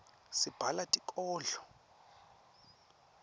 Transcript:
sibhala tinkodlo